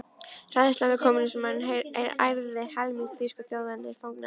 Hræðslan við kommúnismann ærði helming þýsku þjóðarinnar í fang nasismans.